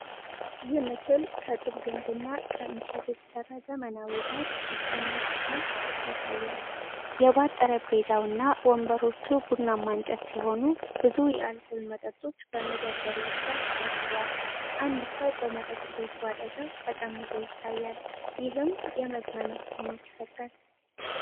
ይህ ምስል ከጡብ ግንብና ከእንጨት የተሰራ ዘመናዊ ባር ውስጠኛ ክፍልን ያሳያል። የባር ጠረጴዛው እና ወንበሮቹ ቡናማ እንጨት ሲሆኑ፣ ብዙ የአልኮል መጠጦች በ መደርደሪያዎች ላይ ተደርድረዋል። አንድ ሰው በመጠጥ ቤቱ አጠገብ ተቀምጦ ይታያል፤ ይህም የመዝናናት ስሜት ይፈጥራል።